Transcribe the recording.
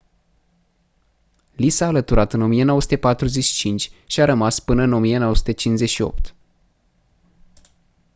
li s-a alăturat în 1945 și a rămas până în 1958